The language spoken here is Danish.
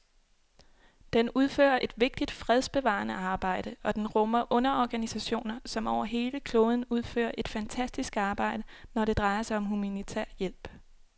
Den udfører et vigtigt fredsbevarende arbejde, og den rummer underorganisationer, som over hele kloden udfører et fantastisk arbejde, når det drejer sig om humanitær hjælp.